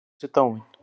Nema hún sé dáin.